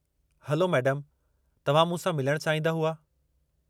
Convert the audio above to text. Hello मैडमु, तव्हां मूंसां मिलण चाहींदा हुआ?